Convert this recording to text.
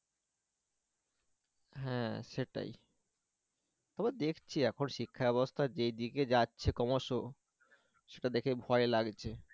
হ্যাঁ সেটাই তারপর দেখছি এখন শিক্ষা ব্যবস্থা যেদিকে যাচ্ছে ক্রমশ সেটা দেখে ভয় লাগছে